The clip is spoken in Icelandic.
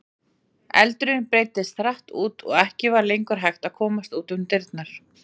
Eldurinn breiddist hratt út og ekki var lengur hægt að komast út um dyrnar.